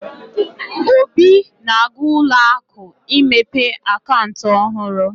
Obi na-aga ụlọ akụ imepe akaụntụ ọhurụ.